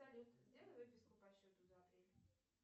салют сделай выписку по счету за апрель